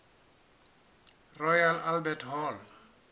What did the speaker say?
royal albert hall